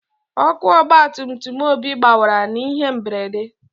Ọkụ ọgba tum tum Obi gbawara n'ihe mberede.